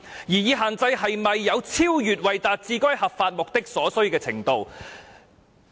擬議限制是否有超越為達致該合法目的所需的程度？